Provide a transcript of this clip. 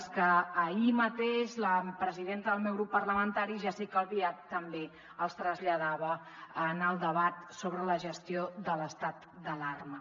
les que ahir mateix la presidenta del meu grup parlamentari jéssica albiach també els traslladava en el debat sobre la gestió de l’estat d’alarma